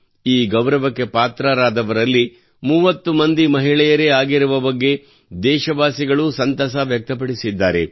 ಈ ಗೌರವಕ್ಕೆ ಪಾತ್ರರಾದವರಲ್ಲಿ 30 ಮಂದಿ ಮಹಿಳೆಯರೇ ಆಗಿರುವ ಬಗ್ಗೆ ದೇಶವಾಸಿಗಳೂ ಸಂತಸ ವ್ಯಕ್ತಪಡಿಸಿದ್ದಾರೆ